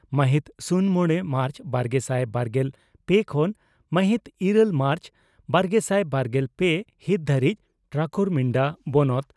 ᱢᱟᱦᱤᱛ ᱥᱩᱱ ᱢᱚᱲᱮ ᱢᱟᱨᱪ ᱵᱟᱨᱜᱮᱥᱟᱭ ᱵᱟᱨᱜᱮᱞ ᱯᱮ ᱠᱷᱚᱱ ᱢᱟᱦᱤᱛ ᱤᱨᱟᱹᱞ ᱢᱟᱨᱪ ᱵᱟᱨᱜᱮᱥᱟᱭ ᱵᱟᱨᱜᱮᱞ ᱯᱮ ᱦᱤᱛ ᱫᱷᱟᱹᱨᱤᱡ ᱴᱨᱟᱠᱩᱨᱢᱤᱱᱰᱟ ᱵᱚᱱᱚᱛ